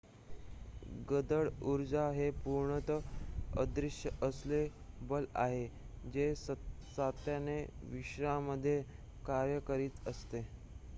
गडद उर्जा हे पूर्णतः अदृश्य असे बल आहे जे सातत्याने विश्वामध्ये कार्य करीत असते